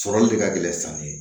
Sɔrɔli de ka gɛlɛn sanni ye